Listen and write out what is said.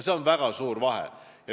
Siin on väga suur vahe.